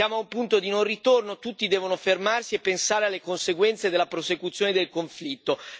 Siamo a un punto di non ritorno tutti devono fermarsi e pensare alle conseguenze della prosecuzione del conflitto.